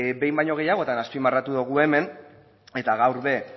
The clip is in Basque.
behin baino gehiagotan azpimarratu dugu hemen eta gaur ere